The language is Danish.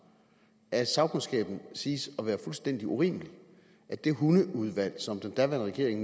af sagkundskaben siges at være fuldstændig urimelig og at det hundeudvalg som den daværende regering